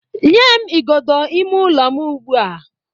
nye m igodo ime ụlọ m ugbua!